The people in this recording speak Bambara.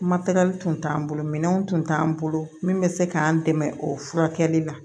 Matɛrɛli tun t'an bolo minɛnw tun t'an bolo min bɛ se k'an dɛmɛ o furakɛli la